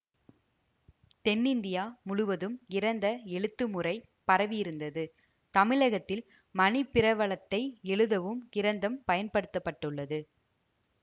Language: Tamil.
தென்னிந்தியா முழுவதும் கிரந்த எழுத்து முறை பரவியிருந்தது தமிழகத்தில் மணிப்பிரவாளத்தை எழுதவும் கிரந்தம் பயன்படுத்தப்பட்டது